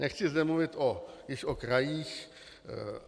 Nechci zde mluvit již o krajích.